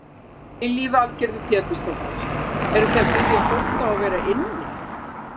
Lillý Valgerður Pétursdóttir: Eruð þið að biðja fólk þá að vera inni?